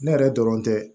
Ne yɛrɛ dɔrɔn tɛ